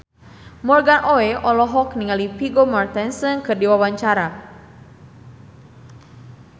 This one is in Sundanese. Morgan Oey olohok ningali Vigo Mortensen keur diwawancara